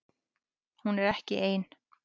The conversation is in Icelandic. Hún er ekki ein